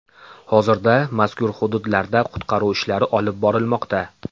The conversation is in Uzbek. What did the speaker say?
Hozirda mazkur hududlarda qutqaruv ishlari olib borilmoqda.